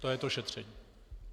To je to šetření.